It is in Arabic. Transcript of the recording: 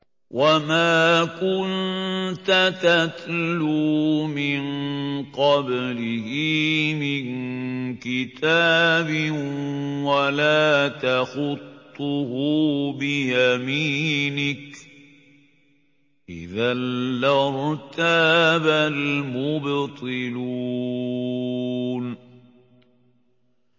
وَمَا كُنتَ تَتْلُو مِن قَبْلِهِ مِن كِتَابٍ وَلَا تَخُطُّهُ بِيَمِينِكَ ۖ إِذًا لَّارْتَابَ الْمُبْطِلُونَ